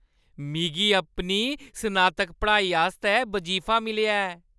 मिगी अपनी स्नातक पढ़ाई आस्तै बजीफा मिलेआ ऐ।